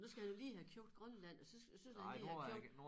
Men nu skal han jo lige have købt Grønland og så og så der lige er købt